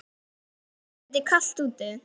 Það er dálítið kalt úti.